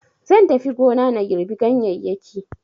Zan tafi gona na girɓi ganyeyyaki